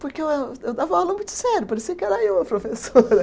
Porque eu eh, eu dava aula muito sério, parecia que era eu a professora.